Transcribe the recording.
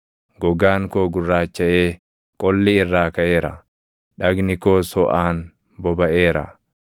Gogaan koo gurraachaʼee qolli irraa kaʼeera; dhagni koos hoʼaan bobaʼeera.